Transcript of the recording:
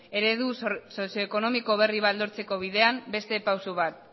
eredu sozioekonomiko berri bat lortzeko bidean beste pausu bat